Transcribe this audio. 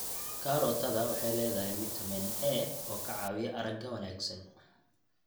Karootada waxay leedahay fitamiin A oo ka caawiya aragga wanaagsan.